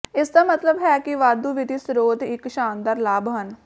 ਇਸ ਦਾ ਮਤਲਬ ਹੈ ਕਿ ਵਾਧੂ ਵਿੱਤੀ ਸਰੋਤ ਇੱਕ ਸ਼ਾਨਦਾਰ ਲਾਭ ਹਨ